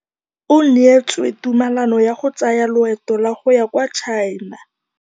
O neetswe tumalanô ya go tsaya loetô la go ya kwa China.